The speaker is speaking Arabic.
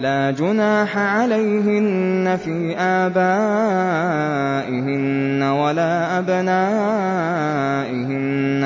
لَّا جُنَاحَ عَلَيْهِنَّ فِي آبَائِهِنَّ وَلَا أَبْنَائِهِنَّ